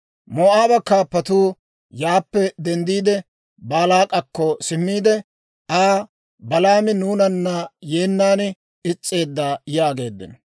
Moo'aaba kaappatuu yaappe denddiide, Baalaak'akko simmiide Aa, «Balaami nuunana yeennan is's'eedda» yaageeddino.